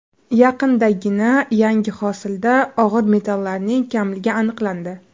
Yaqindagina yangi hosilda og‘ir metallarning kamligi aniqlandi.